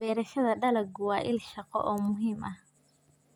Beerashada dalaggu waa il shaqo oo muhiim ah.